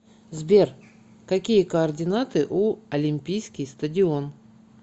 сбер какие координаты у олимпийский стадион